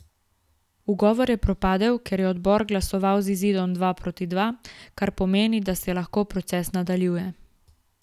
Ugovor je propadel, ker je odbor glasoval z izidom dva proti dva, kar pomeni, da se lahko proces nadaljuje.